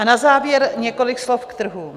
A na závěr několik slov k trhům.